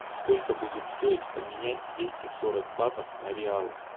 сколько будет стоить поменять двести сорок батов на реалы